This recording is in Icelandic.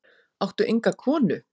Áttu enga konu?